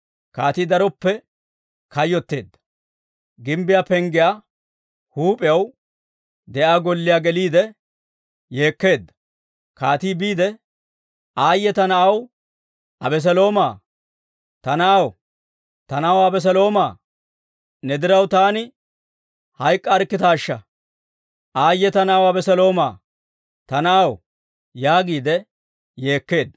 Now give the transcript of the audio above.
Kaatii daroppe kayyotteedda; gimbbiyaa penggiyaa huup'iyaan de'iyaa golliyaa geliide yeekkeedda; kaatii biidde, «Aayye ta na'aw Abeseloomaa! Ta na'aw! Ta na'aw Abeseloomaa! Ne diraw taani hayk'k'arikkitaashsha! Aayye ta na'aw Abeseloomaa! Ta na'aw!» yaagiide yeekkeedda.